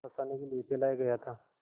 फँसाने के लिए फैलाया गया था